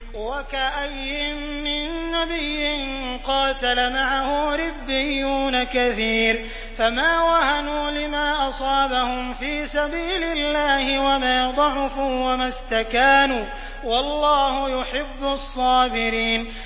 وَكَأَيِّن مِّن نَّبِيٍّ قَاتَلَ مَعَهُ رِبِّيُّونَ كَثِيرٌ فَمَا وَهَنُوا لِمَا أَصَابَهُمْ فِي سَبِيلِ اللَّهِ وَمَا ضَعُفُوا وَمَا اسْتَكَانُوا ۗ وَاللَّهُ يُحِبُّ الصَّابِرِينَ